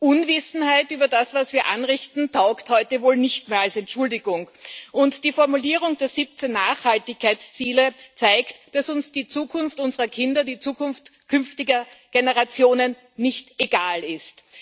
Unwissenheit über das, was wir anrichten, taugt heute wohl nicht mehr als Entschuldigung, und die Formulierung der 17 Nachhaltigkeitsziele zeigt, dass uns die Zukunft unserer Kinder, die Zukunft künftiger Generationen nicht egal ist.